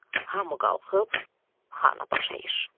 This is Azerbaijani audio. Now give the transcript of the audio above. Hamı qalxıb xana baş əyir.